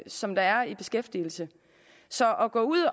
som er i beskæftigelse så at gå ud